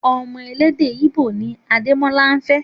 Ọmọ elédè íbò ni Adémọ́lá fẹ́